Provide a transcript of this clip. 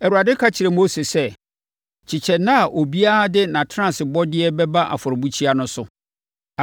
Awurade ka kyerɛɛ Mose sɛ, “Kyekyɛ nna a obiara de nʼatenasebɔdeɛ bɛba afɔrebukyia no so.”